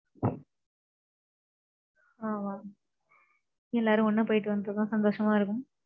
ஆமாம். எல்லாரும் ஒண்ணா போயிட்டு வந்தா சந்தோஷமா இருக்கும்.